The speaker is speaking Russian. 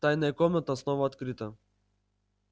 тайная комната снова открыта